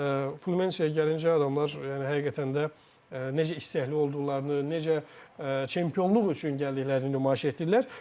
Flumineseyə gəlincə, adamlar yəni həqiqətən də necə istəkli olduqlarını, necə çempionluq üçün gəldiyini nümayiş etdirdilər.